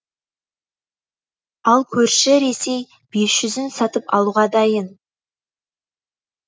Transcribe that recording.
ал көрші ресей бес жүзін сатып алуға дайын